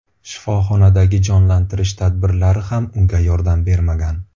Shifoxonadagi jonlantirish tadbirlari ham unga yordam bermagan.